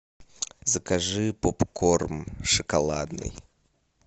закажи попкорн шоколадный